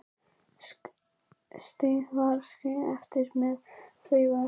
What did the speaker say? Stjáni var skilinn eftir með Þuru og Maju.